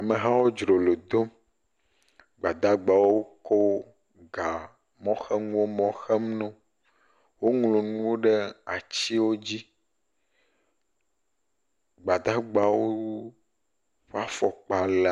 Mehawo dzrolo dom. Gbadagbewo ko ga mɔxenuwo mɔ xem no. Woŋlo nuwo ɖe atiwo dzi. Gbadagbawo ƒe fɔkpa le …